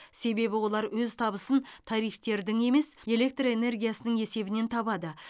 себебі олар өз табысын тарифтердің емес электр энергиясының есебінен табады